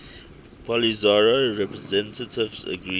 polisario representatives agreed